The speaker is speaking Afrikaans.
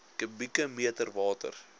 kubieke meter water